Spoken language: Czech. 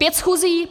Pět schůzí?